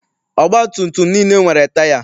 Ọgbatumtum niile nwere taya.